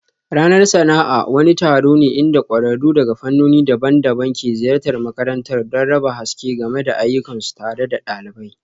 Ranar sana'a wani taron ne inda kwararru daga fannoni daban-daban ke ziyartar makarantar don raba haske game da ayyukansu tare da ɗalibai